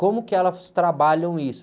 como que elas trabalham isso.